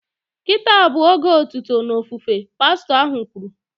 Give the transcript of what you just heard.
Kịta a bụ oge otuto na ofufe" pastọ ahụ kwuru